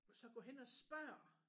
Så gå hen og spørg